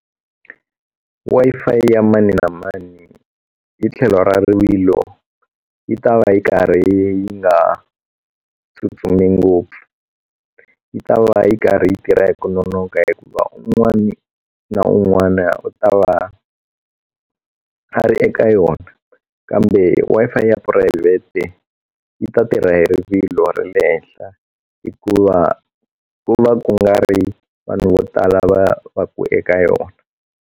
Wi-Fi ya mani na mani hi tlhelo ra rivilo yi ta va yi karhi yi nga tsutsumi ngopfu yi ta va yi karhi yi tirha hi ku nonoka hikuva un'wani na un'wana u ta va a ri eka yona kambe Wi-Fi ya phurayivhete yi ta tirha hi rivilo ra le henhla hikuva ku va ku nga ri vanhu vo tala va va ku eka yona.